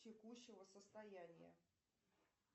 текущего состояния